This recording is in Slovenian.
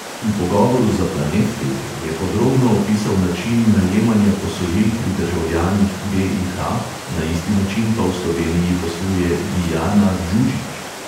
V pogovoru za planet te|ve je podrobno opisal način najemanja posojil pri državljanih be|i|ha, na isti način pa v sloveniji posluje dijana đuđić.